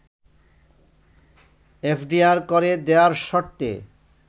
FDR করে দেয়ার শর্তে